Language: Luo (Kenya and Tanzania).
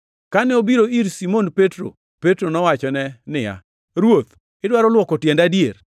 Kane obiro ir Simon Petro, Petro nowachone niya, “Ruoth, idwaro luoko tienda adier?”